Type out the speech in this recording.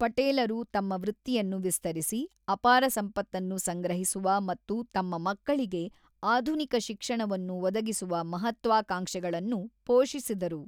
ಪಟೇಲರು ತಮ್ಮ ವೃತ್ತಿಯನ್ನು ವಿಸ್ತರಿಸಿ, ಅಪಾರ ಸಂಪತ್ತನ್ನು ಸಂಗ್ರಹಿಸುವ ಮತ್ತು ತಮ್ಮ ಮಕ್ಕಳಿಗೆ ಆಧುನಿಕ ಶಿಕ್ಷಣವನ್ನು ಒದಗಿಸುವ ಮಹತ್ವಾಕಾಂಕ್ಷೆಗಳನ್ನು ಪೋಷಿಸಿದರು.